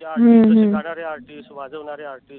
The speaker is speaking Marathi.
ते artist शिकवणारे artist वाजवणारे artist